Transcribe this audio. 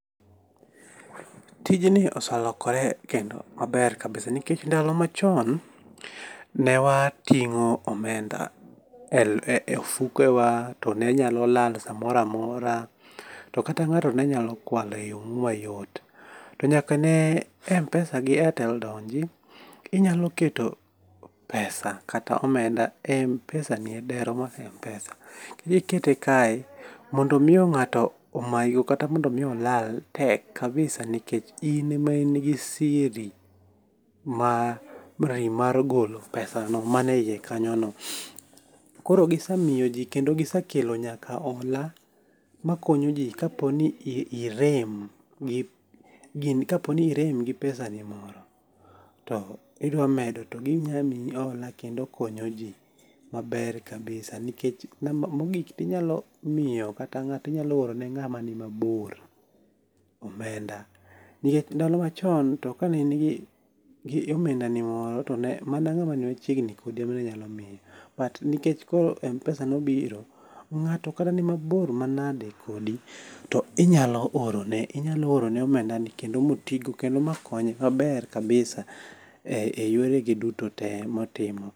Tijni oselokore kendo ober kabisa nikech ndalo machon ne wating'o omenda e ofuke wa to ne nyalo lal samoro amora. To kata ng'ato ne nyalo kwalo e yo moro mayot. To nyaka ne MPesa gi Airtel donji, inyalo keto pesa kata omenda e MPesa ni e dero mar MPesa. Kikete kae mondo mi ng'ato omayi go kata mondo mi olal tek kabisa nikech in e ma in gi siri mar mari mar golo pesa maneyie kanyono. Koro gisemiyo ji kendo gisekelo nyaka ola makonyo ji kaponi irem gi pesa ni moro to idwa medo to ginya miyi hola kendo konyo ji maber kabisa. Nikech Namba mogik inyalo miyo kata ng'ato inyalo oro ne ng'ama ni mabor omenda. Nikech ndalo machon to kane in gi omdenda ni moro to ne mana ng'ama ni machiegni kodi emani inyalo miyo. But nikech koro MPesa noibiro, ng'ato kata ni mabor manage kodi to inyalo oro ne onyalo oro ne omenda ni kendo motigo kendo makonye maber kabisa e yore ge duto te motimo.